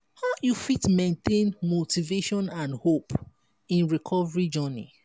how you fit maintain motivation and hope in recovery journey?